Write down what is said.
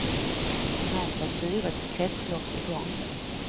Snart var syrets kretslopp i gång.